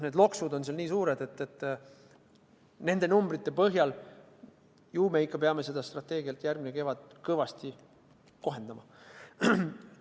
See loks on nii suur, et nende numbrite põhjal võib öelda, et ju me ikka peame seda strateegiat järgmisel kevadel kõvasti kohendama.